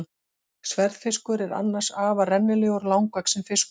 Sverðfiskur er annars afar rennilegur og langvaxinn fiskur.